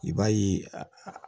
I b'a ye a